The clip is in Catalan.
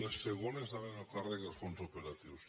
les segones anaven a càrrec dels fons operatius